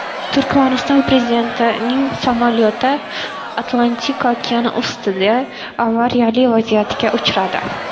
Turkmaniston prezidentining samolyoti Atlantika okeani ustida avariyali vaziyatga uchradi.